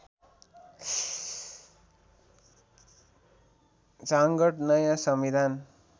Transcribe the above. झाँगड नयाँ संविधान